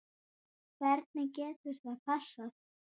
Hvernig getur það passað?